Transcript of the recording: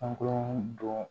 An k'o dɔn